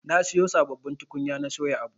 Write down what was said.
Na siyo sabbabin tukunya na soya abu.